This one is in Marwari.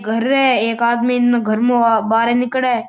घर है एक आदमी घर मु बाहर निकले।